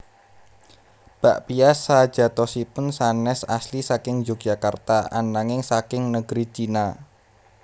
Bakpia sajatosipun sanés asli saking Yogyakarta ananging saking negeri China